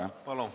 Palun!